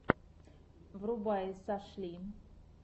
врубай сашли